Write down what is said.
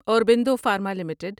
Aurobindo pharma limited